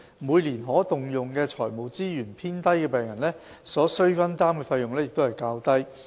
每年可動用財務資源偏低的病人，所須分擔的費用亦較低。